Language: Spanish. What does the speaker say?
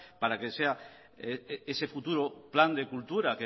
para que sea ese futuro plan de cultura